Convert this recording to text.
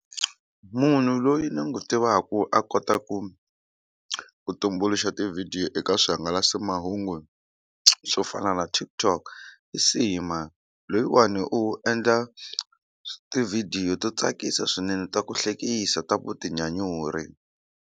Munhu loyi ni n'wi tivaka a kotaku ku tumbuluxa tivhidiyo eka swihangalasamahungu swo fana na TikTok i Sima loyiwani u endla tivhidiyo to tsakisa swinene ta ku hlekisa ta vutinyanyuri.